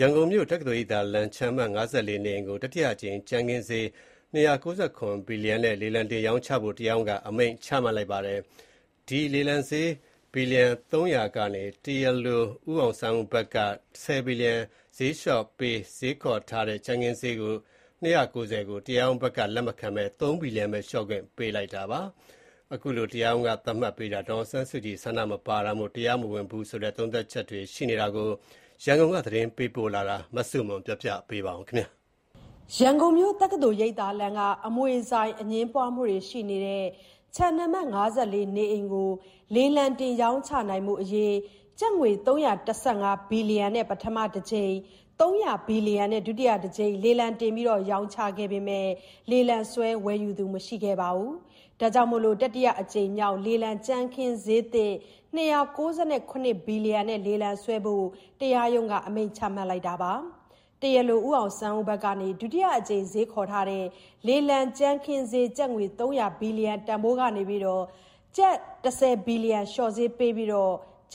ရန်ကုန်မြို့ တက္ကသိုလ်ရိပ်သာလမ်း ခြံအမှတ် (၅၄) နေအိမ်ကို တတိယအကြိမ်ကြမ်းခင်းဈေး ၂၉၇ ဘီလီယံ နဲ့ လေလံတင်ရောင်းချဖို့ တရားရုံးက အမိန့်ချမှတ်လိုက်ပါတယ်။ ဒုတိယအကြိမ် လေလံဈေး ဘီလီယံ ၃၀၀ကနေ တရားလို ဦးအောင်ဆန်းဦးဘက်က ၁၀ဘီလီယံ လျှော့ဈေးပေး ဈေးခေါ်ထားတဲ့ လေလံကြမ်းခင်းဈေး ၂၉၀ ကို တရားရုံးဘက်က လက်မခံဘဲ ၃ဘီလီယံဘဲ လျော့ခွင့်ပေးလိုက်တာပါ။ ထောင်ချခံထားရတဲ့ ဒေါ်အောင်ဆန်းစုကြည်ရဲ့ သဘောထားဆန္ဒမပါပဲ ရောင်းချဖို့ တရားရုံးအမိန့်က ဥပဒေအရ တရားမဝင်ဘူးဆိုတဲ့ သုံးသပ်ချက်တွေလည်းရှိပါတယ်။ ဒီသတင်းရန်ကုန်ကပေးပို့လာတာကို ကပြောပြမှာပါ။ ရန်ကုန်မြို့ တက္ကသိုလ်ရိပ်သာလမ်းက အမွေဆိုင်အငြင်းပွားမှုရှိနေတဲ့ ခြံအမှတ် (၅၄) နေအိမ်ကို လေလံတင် ရောင်းချနိုင်ဖို့အရေး ကျပ်ငွေ ၃၁၅ ဘီလီယံနဲ့ ပထမတကြိမ်၊ ၃၀၀ ဘီလီယံနဲ့ ဒုတိယတကြိမ် လေလံတင် ရောင်းချခဲ့ပေမဲ့ လေလံဆွဲ ဝယ်ယူသူမရှိတာကြောင့် အခုလို တတိယအကြိမ်မြောက် လေလံကြမ်းခင်းဈေးသစ် ၂၉၇ဘီလီယံ နဲ့ လေလံဆွဲဖို့ တရားရုံးက အမိန့်ချမှတ်လိုက်တာပါ။ တရားလို ဦးအောင်ဆန်းဦးဘက်က ဒုတိယအကြိမ် ဈေးခေါ်ထားတဲ့ လေလံကြမ်းခင်းဈေး ကျပ်ငွေ ၃၀၀ ဘီလီယံတန်ဖိုးကနေ ကျပ် ၁၀ဘီလီယံ လျှော့ဈေးပေးပြီး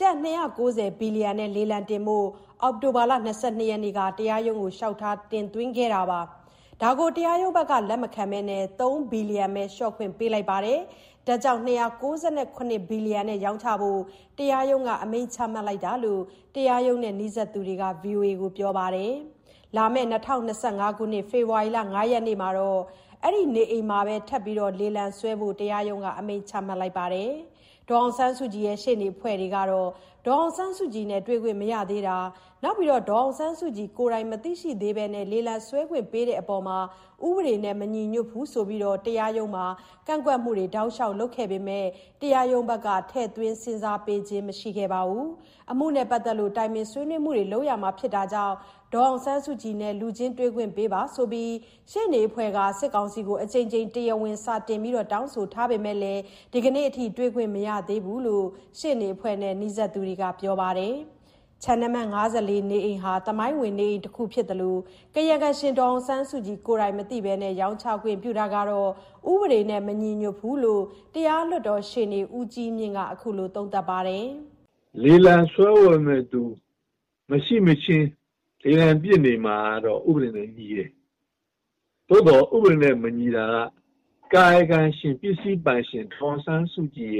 ကျပ်၂၉၀ ဘီလီယံနဲ့ လေလံတင်ဖို့ အောက်တိုဘာလ ၂၂ရက်နေ့က တရားရုံးကို လျှောက်ထား တင်သွင်းခဲ့တာပါ။ တရားရုံးဘက်က လက်မခံဘဲ ၃ဘီလီယံဘဲ လျော့ခွင့်ပေးလိုက်ပြီး ၂၉၇ဘီလီယံ နဲ့ ရောင်းချဖို့ တရားရုံးက အမိန့်ချမှတ်လိုက်တာလို့ တရားရုံးနဲ့နီးစပ်သူတွေကပြောပါတယ်။ လာမယ့် ၂၀၂၅ ဖေဖော်ဝါရီ ၅ရက်နေ့မှာ အဲ့ဒီ့နေအိမ်မှာဘဲ ထပ်မံလေလံဆွဲဖို့ တရားရုံးကအမိန့်ချမှတ်လိုက်ပါတယ်။ ဒေါ်အောင်ဆန်းစုကြည်ရဲ့ ရှေ့နေအဖွဲ့ကတော့ ဒေါ်အောင်ဆန်းစုကြည်နဲ့ တွေ့ခွင့်မရသေးတာ၊ ဒေါ်အောင်ဆန်းစုကြည် မသိရှိသေးဘဲ လေလံဆွဲခွင့်ပေးတဲ့အပေါ် ဥပေဒေနဲ့ မညီညွတ်ဘူးဆိုပြီး တရားရုံးမှာ ကန့်ကွက်မှုတွေ တောက်လျှောက်လုပ်လာပေမယ့် တရားရုံးဘက်က ထည့်သွင်းစဉ်းစားပေးခြင်း မရှိခဲ့ပါဘူး။ အမှုနဲ့ပတ်သက်လို့ တိုင်ပင်ဆွေးနွေးမှုတွေ လုပ်ရမှာကြောင့် ဒေါ်အောင်ဆန်းစုကြည်နဲ့ လူချင်းတွေ့ခွင့်ရဖို့ ရှေ့နေအဖွဲ့က စစ်ကောင်စီကို အကြိမ်ကြိမ် တရားဝင်စာတင် တောင်းဆိုထားပေမဲ့ ဒီနေ့အထိ တွေ့ခွင့်မရသေးဘူးလို့လည်း ရှေ့နေအဖွဲ့နဲ့ နီးစပ်သူတွေက ပြောပါတယ်။ ခြံအမှတ် (၅၄) နေအိမ်ဟာ သမိုင်းဝင်အိမ်တခုဖြစ်သလို ကာယကံရှင်ဒေါ်အောင်ဆန်းစုကြည်မသိဘဲ ရောင်းချခွင့်ပြုတာဟာ ဥပဒေနဲ့ မညီညွတ်သလို ဈေးဘယ်လောက်လျော့လျော့ ဝယ်ယူမယ့် သူရှိလာနိုင်စရာ မရှိဘူးလို့ တရားလွှတ်တော်ရှေ့နေ ဦးကြီးမြင့်ကတော့ အခုလို သုံးသပ်ပါတယ်။ "လေလံဆွဲတဲ့သူမရှိမခြင်း လေလံပစ်နေမှာကတော့ ဥပဒေနဲ့ ညီတယ်။ သို့သော် ဥပဒေနဲ့မညီတာက ကာယကံရှင် ပစ္စည်းပိုင်ရှင် ဒေါ်အောင်ဆန်းစုကြည်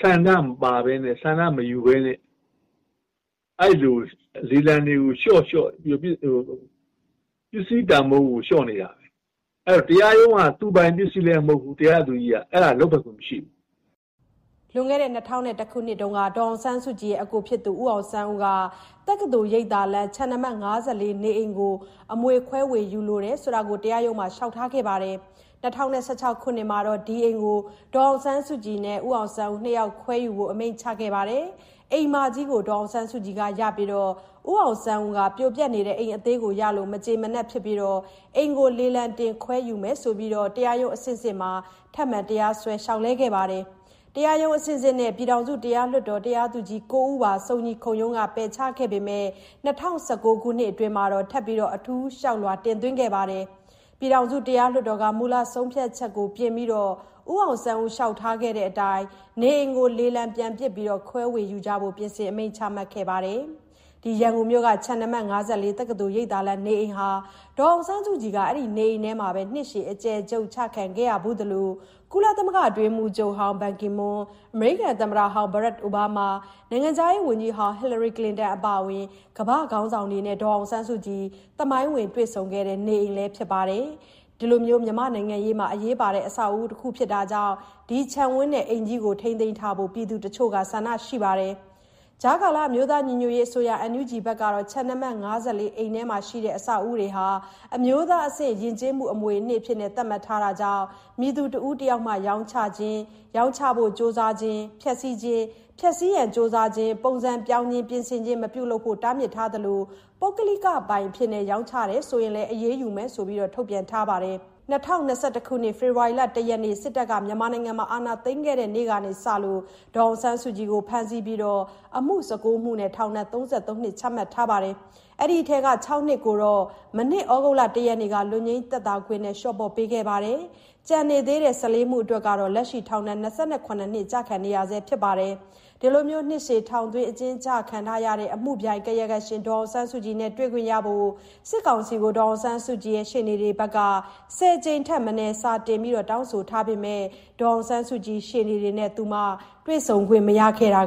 ဆန္ဒမပါဘဲနဲ့ ဆန္ဒမယူဘဲနဲ့ လေလံတွေကို လျှော့ပေါ့နေတာ ပစ္စည်းတန်ဖိုး လျှော့နေတာ တရားရုံးက သူပိုင်ပစ္စည်းလဲ မဟုတ်ဘူး တရားသူကြီးက အဲလိုလုပ်ပိုင်ခွင့် မရှိဘူး။" လွန်ခဲ့တဲ့၂ဝဝ၁ ခုနှစ်ကတည်းက ဒေါ်အောင်ဆန်းစုကြည်ရဲ့ အစ်ကို ဦးအောင်ဆန်းဦးက တက္ကသိုလ်ရိပ်သာလမ်း ခြံအမှတ်(၅၄) နေအိမ်ကို အမွေခွဲဝေယူလို ကြောင်း တရားရုံးမှာ လျှောက်ထားခဲ့တာပါ။ ၂၀၁၆ ခုနှစ်မှာတော့ ဒီအိမ်ကို ဒေါ်အောင်ဆန်းစုကြည်နဲ့ ဦးအောင်ဆန်းဦးတို့ ၂ ယောက်ခွဲယူဖို့ အမိန့်ချထားတာကို အိမ်မကြီးကို ဒေါ်အောင်ဆန်းစုကြည်ကရပြီး ဦးအောင်ဆန်းဦးက ပြိုပျက်နေတဲ့ အိမ်အသေးကိုရလို့ မကျေနပ်ဖြစ်ပြီး အိမ်ကိုလေလံတင်ခွဲ ယူမယ်ဆိုပြီး တရားရုံးအဆင့်ဆင့်မှာ ထပ်မံတရားစွဲ လျှောက်လဲခဲ့ပါတယ်။ တရားရုံးအဆင့်ဆင့်နဲ့ ပြည်ထောင်စုတရားလွှတ်တော် တရားသူကြီး ၉ ဦးပါ စုံညီခုံရုံးက ပယ်ချခဲ့ပေမယ့် ၂ဝ၁၉ခုနှစ်အတွင်းမှာ ထပ်မံ အထူးလျှောက်လွှာ တင်သွင်းခဲ့လို့ ပြည်ထောင်စုတရားလွှတ်တော်က မူလ ဆုံးဖြတ်ချက်ကိုပြင်ပြီး ဦးအောင်ဆန်းဦး လျှောက်ထားခဲ့တဲ့အတိုင်း ခြံနဲ့ နေအိမ်ကို လေလံပြန်ပစ်ပြီး ခွဲဝေယူကြဖို့ ပြင်ဆင်အမိန့်ချခဲ့တာဖြစ်ပါတယ်။ ရန်ကုန်မြို့ ခြံအမှတ် ၅၄ တက္ကသိုလ်ရိပ်သာလမ်းနေအိမ်မှာ ဒေါ်အောင်ဆန်းစုကြည် အဲ့ဒီ့နေအိမ်ထဲမှာပဲ နှစ်ရှည်အကျယ်ချုပ်ချခံခဲ့ရဖူးသလို၊ ကုလသမဂ္ဂအတွင်းရေးမှူးချုပ်ဟောင်း Ban Ki-moon၊ အမေရိကန်သမ္မတဟောင်း Barack Obama၊ နိုင်ငံခြားရေးဝန်ကြီးဟောင်း Hillary Clinton အပါအဝင် ကမ္ဘာ့ခေါင်းဆောင်တွေနဲ့ သမိုင်းဝင်တွေ့ဆုံခဲ့ကြတဲ့ နေအိမ်လည်းဖြစ်ပါတယ်။ မြန်မာ့နိုင်ငံရေးအတွက်အရေးပါတဲ့ အဆောက်အဦး တခုဖြစ်တာကြောင့် ဒီခြံဝန်းကြီးကို ထိန်းသိမ်းထားဖို့ ပြည်သူတချို့က ဆန္ဒရှိကြပါတယ်။ အမျိုးသားညီညွတ်ရေးအစိုးရ (NUG) က ခြံအမှတ် ၅၄ ခြံထဲမှာရှိတဲ့ အဆောက်အအုံတွေကို အမျိုးသားအဆင့် ယဉ်ကျေးမှုအမွေအနှစ်အဖြစ် သတ်မှတ်ထားတဲ့အတွက် မည်သူတဦးတယောက်မှ ရောင်းချခြင်း၊ ရောင်းချရန် ကြိုးစားခြင်း၊ ဖျက်ဆီးခြင်း၊ ဖျက်ဆီးရန် ကြိုးစားခြင်း၊ ပုံစံပြောင်းခြင်း၊ ပြင်ဆင်ခြင်း မပြုလုပ်ဖို့ကို တားမြစ်ထားပါတယ်။ အမျိုးသားညီညွတ်ရေးအစိုးရ (NUG) ကတော့ ပုဂ္ဂလိကပိုင်အဖြစ် ရောင်းချရင် အရေးယူမယ်လို့ ထုတ်ပြန်ထားပါတယ်။ ၂၀၂၁ ခုနှစ် ဖေဖော်ဝါရီလ ၁ ရက်နေ့မှာ စစ်တပ်က အာဏာသိမ်းတဲ့နေ့ကစလို့ ဒေါ်အောင်ဆန်းစုကြည်ကို ဖမ်းဆီးခဲ့ပြီး အမှု ၁၉ မှုနဲ့ ထောင်ဒဏ် ၃၃ နှစ် ချမှတ်ခဲ့ပါတယ်။ ဒီအထဲကမှ ၆ နှစ်ကို မနှစ် သြဂုတ်လ ၁ ရက်နေ့က လွတ်ငြိမ်းသက်သာခွင့်နဲ့ လျှော့ပေါ့ပေးခဲ့ပါတယ်။ ကျန်နေသေးတဲ့ ၁၄ မှုအတွက် လက်ရှိမှာ ထောင်ဒဏ် ၂၇ နှစ် ကျခံနေရဆဲ ဖြစ်ပါတယ်။ အဲ့ဒီ့လို နှစ်ရှည်ထောင်သွင်းအကျဉ်းချခံထားရတဲ့ အမှုပြိုင် ကာယကံရှင် ဒေါ်အောင်ဆန်းစုကြည်နဲ့ တွေ့ခွင့်ရဖို့ စစ်ကောင်စီကို ဒေါ်အောင်ဆန်းစုကြည်ရှေ့နေတွေဘက်က ၁၀ ကြိမ်ထက်မနည်း စာတင်တောင်းဆိုထားပေမယ့် ဒေါ်အောင်ဆန်းစုကြည်ရှေ့နေတွေနဲ့ သူမ တွေ့ဆုံခွင့်မရတာ